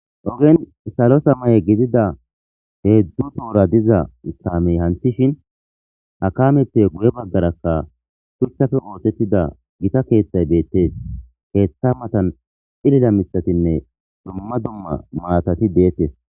ogen salo samaye gidida heezhu toora diza kaamey hanthishin akameppe guye baggarakka shuchthafe ootettida gita keeththay deettes keeththa matan ilila mithatinne dumma dumma maatati deettes